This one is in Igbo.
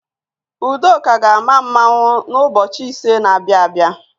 Udoka ga-ama mmanwụ n'ụbọchị ise na-abịa abịa.